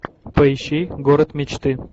поищи город мечты